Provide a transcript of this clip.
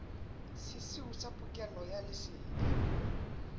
sesiu sa pokello ya lesedi